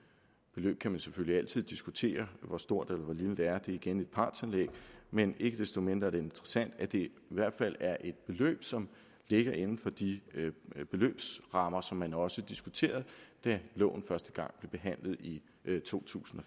man kan selvfølgelig altid diskutere hvor stort eller hvor lille det er igen et partsindlæg men ikke desto mindre er det interessant at det i hvert fald er et beløb som ligger inden for de beløbsrammer som man også diskuterede da loven første gang blev behandlet i to tusind og